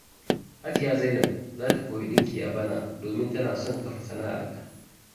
Hajiya Zainab za ta koyi dinki a bana, domin tana son kafa sana’arta.